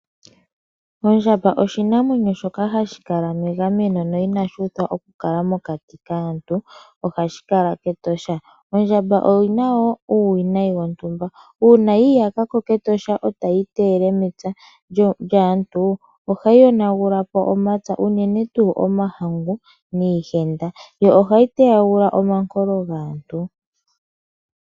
Ondjamba oshinamwenyo shoka hashi kala megameno yo ina shuuthwa okukala mokati kaantu ohashi kala kEtosha. Ondjamba oyi na wo uuwinayi wontumba uuna yiiyaka ko kEtosha etayi iteyele mepya lyomuntu ohayi yonagula po omapya unene tuu omahangu niihenda yo ohayi teyagula omankolo gaantu.